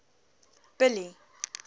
billy